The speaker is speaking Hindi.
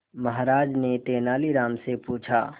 महाराज ने तेनालीराम से पूछा